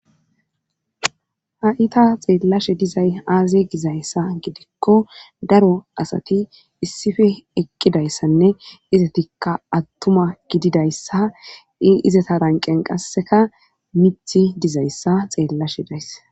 ha7ita xeellashe dizay aaze gizayssa gidikko daro asati issife eqqidayssanne izatikka attuma gididayssa i izata ranqen qasseka mithi dizayssa xeellashe dayss